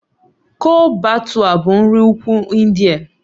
Chole Bhature bụ nri Ugwu India